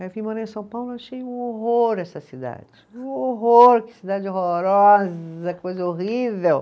Aí eu vim morar em São Paulo e achei um horror essa cidade, um horror, que cidade horrorosa, coisa horrível.